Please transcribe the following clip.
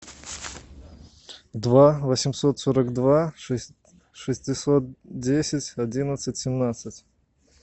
два восемьсот сорок два шестьсот десять одиннадцать семнадцать